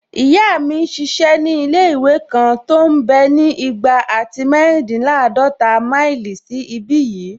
Ìyá mi n ṣiṣẹ́ ní ilé-ìwé kan tó mbẹ́ ní igba àti méjìdínláàdọ́ta máìlì sí ìbi yìí